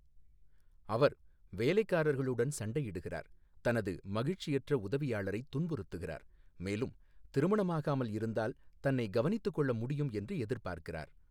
அவர் வேலைக்காரர்களுடன் சண்டையிடுகிறார், தனது மகிழ்ச்சியற்ற உதவியாளரை துன்புறுத்துகிறார், மேலும் திருமணமாகாமல் இருந்தால் தன்னை கவனித்துக் கொள்ள முடியும் என்று எதிர்பார்க்கிறார்.